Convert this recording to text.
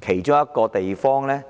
其中《條例草案》